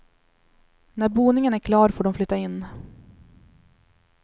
När boningen är klar får de flytta in.